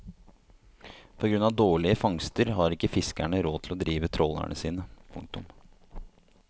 På grunn av dårlige fangster har ikke fiskerne råd til å drive trålerne sine. punktum